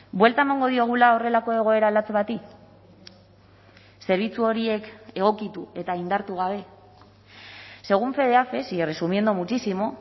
buelta emango diogula horrelako egoera latz bati zerbitzu horiek egokitu eta indartu gabe según fedeafes y resumiendo muchísimo